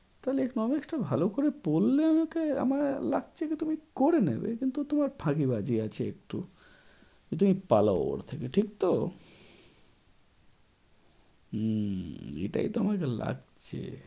তাহলে economic টা ভালো করে পড়লে আমাকে, আমার লাগছে যে তুমি করে নেবে কিন্তু তোমার ফাঁকিবাজি আছে একটু যে তুমি পালাও ওর থেকে ঠিক তো? উম এটাই তো আমাকে লাগছে।